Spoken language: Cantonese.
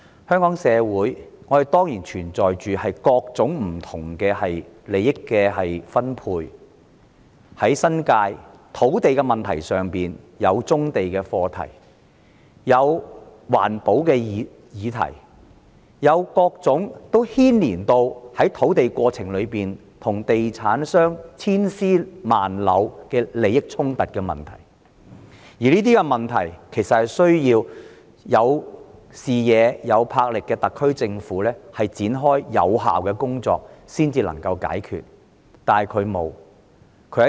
香港社會當然有各種不同的利益分配，例如在新界土地問題上有棕地和環保的議題，而在開發土地的過程中亦有各種涉及地產商千絲萬縷的利益衝突問題，而這些問題其實需要有視野、有魄力的特區政府展開有效的工作才能解決。